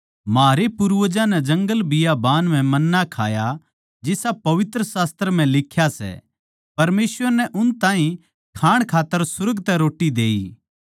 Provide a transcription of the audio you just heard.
म्हारै पूर्वजां नै जंगलबियाबान म्ह मन्ना खाया जिसा पवित्र शास्त्र म्ह लिख्या सै परमेसवर नै उन ताहीं खाण खात्तर सुर्ग तै रोट्टी देई